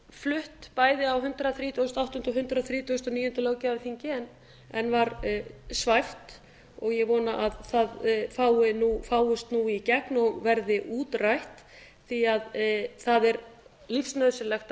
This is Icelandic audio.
flutt bæði á hundrað þrítugasta og áttunda og hundrað þrítugasta og níunda löggjafarþingi en varð svæft og ég vona að það fáist nú í gegn og verði útrætt því að það er lífsnauðsynlegt að